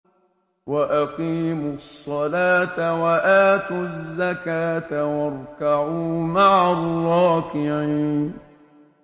وَأَقِيمُوا الصَّلَاةَ وَآتُوا الزَّكَاةَ وَارْكَعُوا مَعَ الرَّاكِعِينَ